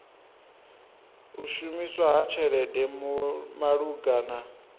u shumiswa ha tshelede malugana